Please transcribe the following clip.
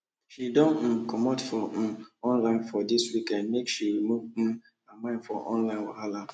she don um comot for um online for dis weekend make she remove um her mind for online wahala